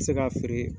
bɛ se ka feere